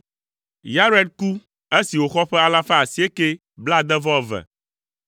Yared ku esi wòxɔ ƒe alafa asiekɛ blaade-vɔ-eve (962).